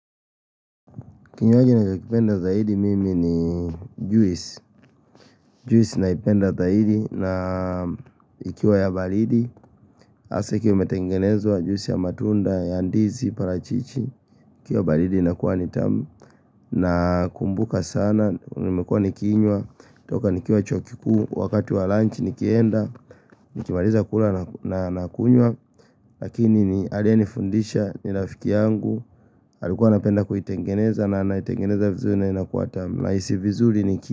Kinywaji ninachokipenda zaidi mimi ni juisi. Juisi naipenda zaidi na ikiwa ya baridi hasaa ikiwa imetengenezwa juisi ya matunda ya ndizi, parachichi. Ikiwa baridi inakuwa ni tamu. Nakumbuka sana, nimekuwa nikinywa. Toka nikiwa chuo kikuu, wakati wa lunch nikienda nikimaliza kula na kunywa lakini ni, aliyenifundisha ni rafiki yangu. Alikuwa anapenda kuitengeneza na anaitengeneza vizuri na inakuwa tamu, nahisi vizuri niki.